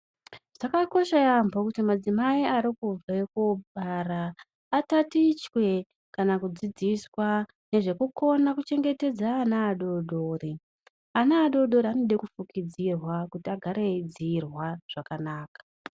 Zvakakosha yaambo kuti madzimai arikubve kobara. Atatichwe kana kudzidziswa nezvekukona kuchengetedza ana adodori. Ana adodori anode kufukidzirwa kuti agare eiidzirwa zvakanaka.